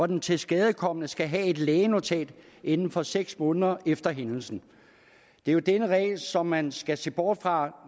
den tilskadekomne skal have et lægenotat inden for seks måneder efter hændelsen det er jo denne regel som man skal se bort fra